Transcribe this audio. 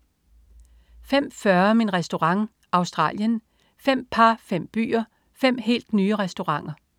05.40 Min Restaurant. Australien. Fem par, fem byer, fem helt nye restauranter